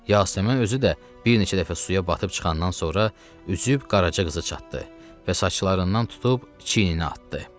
Yasəmən özü də bir neçə dəfə suya batıb çıxandan sonra üzüb Qaraca qıza çatdı və saçlarından tutub çiyninə atdı.